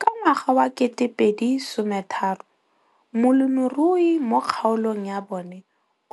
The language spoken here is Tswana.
Ka ngwaga wa 2013, molemirui mo kgaolong ya bona